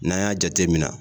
N'an y'a jateminɛ